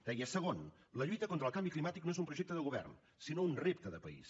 deia segon la lluita contra el canvi climàtic no és un projecte del govern sinó un repte de país